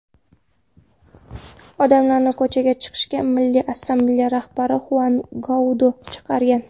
Odamlarni ko‘chaga chiqishga Milliy assambleya rahbari Xuan Guaido chaqirgan.